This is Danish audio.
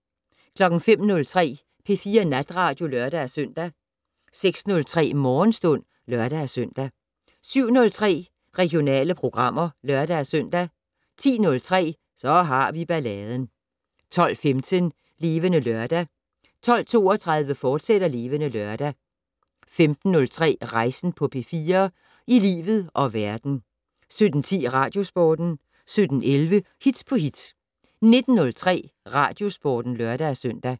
05:03: P4 Natradio (lør-søn) 06:03: Morgenstund (lør-søn) 07:03: Regionale programmer (lør-søn) 10:03: Så har vi balladen 12:15: Levende Lørdag 12:32: Levende Lørdag, fortsat 15:03: Rejsen på P4 - i livet og verden 17:10: Radiosporten 17:11: Hit på hit 19:03: Radiosporten (lør-søn)